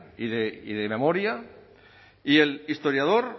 y de memoria y el historiador